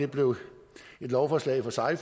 blevet et lovforslag for sig